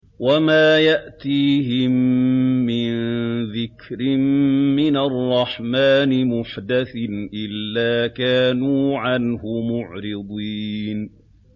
وَمَا يَأْتِيهِم مِّن ذِكْرٍ مِّنَ الرَّحْمَٰنِ مُحْدَثٍ إِلَّا كَانُوا عَنْهُ مُعْرِضِينَ